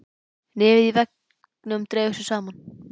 Nefið í veggnum dregur sig saman.